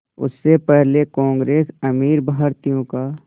उससे पहले कांग्रेस अमीर भारतीयों का